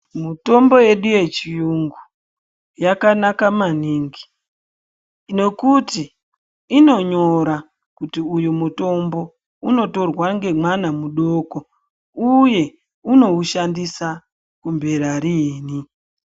Mutombo yedu yechiyungu yakanaka maningi nekuti inonyira kuti uyu mutombo unotorwa nemwana mudoko uye unoushandisa kumbera riini.